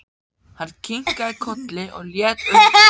Hann kinkaði kolli og leit undan.